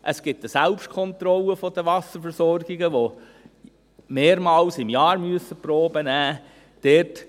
Es gibt eine Selbstkontrolle der Wasserversorgungen, die mehrmals im Jahr Proben nehmen müssen.